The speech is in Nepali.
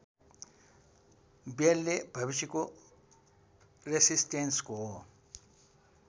बेलले भविष्यको रेसिस्टेन्सको